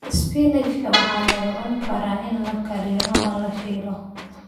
Isbinaashka waxaa lagu cuni karaa in la kariyo ama la shiilo.